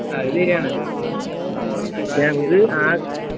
അത് ശരിയാണ്